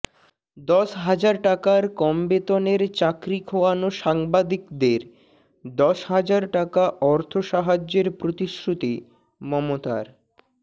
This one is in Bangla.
দশ হাজার টাকার কম বেতনের চাকরি খোয়ানো সাংবাদিকদের দশ হাজার টাকা অর্থ সাহায্যের প্রতিশ্রুতি মমতার